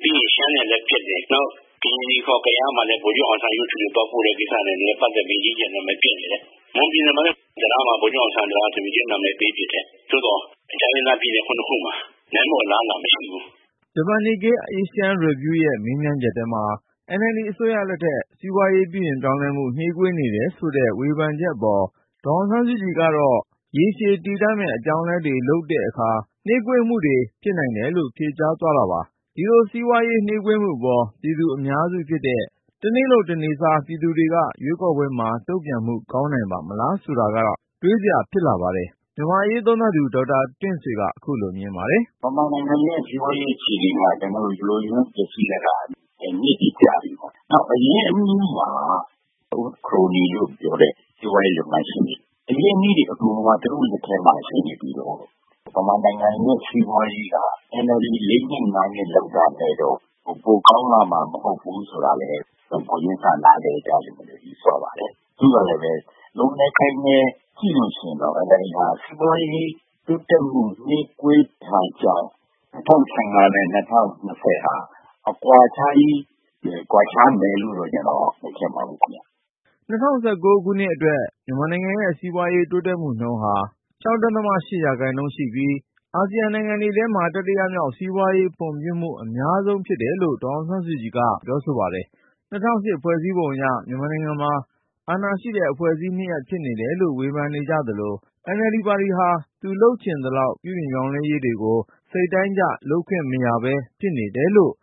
ပြီးရင် ရှမ်းနဲ့လည်းပျက်တယ်၊ ပြီးတော့ ကရင်နီ (ခေါ်) ကယားမှာလည်း ဗိုလ်ချုပ်အောင်ဆန်းရုပ်တုကိစ္စနဲ့ အကြီးအကျယ် နာမည်ပျက်နေတယ်။ မွန်ပြည်နယ်မှာလည်း တံတားကို ဗိုလ်ချုပ်အောင်ဆန်းနာမည်ပေးတယ်။ ဆိုတော့ တိုင်းရင်းသားပြည်နယ် ၇ ခုမှာ နိုင်ဖို့ အလားအလာမရှိဘူး။” ဂျပန် Nikkei Asian Review ရဲ့မေးမြန်းချက်ထဲမှာ NLD အစိုးရလက်ထက် စီးပွားရေး ပြုပြင်ပြောင်းလဲမှု နှေးကွေးနေတယ်ဆိုတဲ့ ဝေဖန်ချက် အပေါ် ဒေါ်အောင်ဆန်းစုကြည်ကတော့ ရေရှည်တည်တံ့မယ့် အပြောင်းအလဲတွေလုပ်တဲ့အခါ နှေးကွေးမှုတွေ ဖြစ်နိုင်တယ်လို့ ဖြေကြားသွား တာပါ။ ဒီလိုစီးပွားရေး နှေးကွေးမှုအပေါ် လူအများစုဖြစ်တဲ့ တနေ့လုပ်တနေ့စား ပြည်သူတွေက ရွေးကောက်ပွဲမှာ တုံ့ပြန်မှု ကောင်းနိုင်ပါ့မလား ဆိုတာက တွေးစရာ ဖြစ်လာပါတယ်။ မြန်မာ့အရေးသုံးသပ်သူ ဒေါက်တာတင့်ဆွေက ခုလို မြင်ပါတယ်။ “မြန်မာနိုင်ငံရဲ့ စီးပွားရေးအခြေအနေက ယို့ယွင်းပျက်စီးလာတာက နှစ်တွေကြာပြီပေါ့နော်။ နောက် အရင်းအနှီးမှာ ခရိုနီလို့ပြောတဲ့ စီးပွားရေးလုပ်ငန်းရှင်တွေ အရင်းအနှီးတွေ အကုန်လုံးက သူတို့လက်ထဲမှာ ရှိနေပြီးတော့ မြန်မာနိုင်ငံရဲ့ စီးပွားရေးက NLD ၄နှစ်၊ ၅ နှစ်လုပ်တာနဲ့တော့ ပိုကောင်းလာမှာ မဟုတ်ဘူးဆိုတာကတော့ ကိုယ်ချင်းစာနားလည်မယ်လို့ ယူဆပါတယ်။ သို့သော်လည်း ကြည့်လို့ရှိရင်တော့ NLD ဟာ စီးပွားရေးတိုးတက်မှု နှေးကွေးတာကြောင့် ၂၀၁၅ နဲ့ ၂၀၂၀ ဟာ အကွာခြားကြီး ကွာခြားမယ်လို့တော့ ကျနော်မထင်ပါဘူး။” ၂၀၁၉ ခုနှစ်အတွက် မြန်မာနိုင်ငံရဲ့ စီးပွားရေးတိုးတက်မှုနှုန်းဟာ ၆.၈% ရှိပြီး အာဆီယံနိုင်ငံတွေထဲမှာ တတိယမြောက် စီးပွားရေးဖွ့ံ့ဖြိုးမှု အများဆုံး ဖြစ်တယ်လို့ ဒေါ်အောင်ဆန်းစုကြည်က Nikkei Asian Review ကို တုန့်ပြန်ပြောပါတယ်။ ၂၀၀၈ ဖွဲ့စည်းပုံအရ မြန်မာနိုင်ငံမှာ အာဏာရှိတဲ့အဖွဲ့အစည်း နှစ်ရပ်ဖြစ်နေတယ်လို့ ဝေဖန်ကြသလို၊ NLD ပါတီဟာ သူ လုပ်ချင်သလောက် ပြုပြင်ပြောင်းလဲရေးတွေကို စိတ်တိုင်းကျ လုပ်ခွင့်မရပဲ ဖြစ်နေတယ်လို့